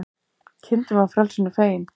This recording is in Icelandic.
Kindin var frelsinu fegin